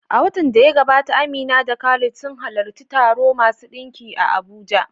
A watan da ya gabata, Amina da Khalid sun halarci taro masu ɗinki a Abuja.